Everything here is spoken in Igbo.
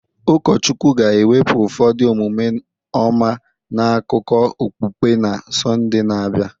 Ụkọchukwu ga-ewepụ ụfọdụ omume ọma n'akụkọ okpukpe na Sọnde na-abịa